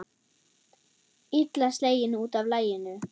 Illa sleginn út af laginu.